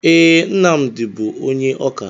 Ee, Nnamdi bụ onye ọkà.